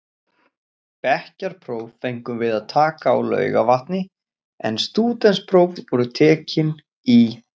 Bekkjarpróf fengum við að taka á Laugarvatni en stúdentspróf voru tekin í